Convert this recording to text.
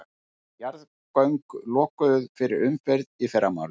Jarðgöng lokuð fyrir umferð í fyrramálið